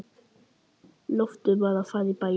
Loftur var að fara í bæinn.